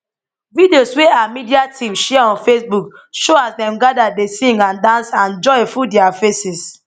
videos wey her media team share on facebook show as dem gada dey sing and dance and joy full dia faces